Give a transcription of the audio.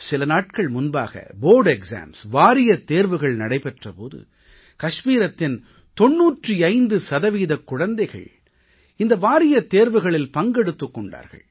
சில நாட்கள் முன்பாக வாரியத் தேர்வுகள் நடைபெற்ற போது கஷ்மீரத்தின் 95 சதவீதக் குழந்தைகள் இந்த வாரியத் தேர்வுகளில் பங்கெடுத்துக் கொண்டார்கள்